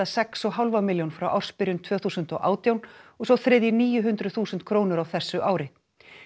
sex og hálfa milljón frá ársbyrjun tvö þúsund og átján og sá þriðji níu hundruð þúsund krónur á þessu ári